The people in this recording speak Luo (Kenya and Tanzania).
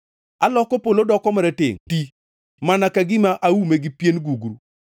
Aloko polo doko maratengʼ ti mana ka gima aume gi pien gugru.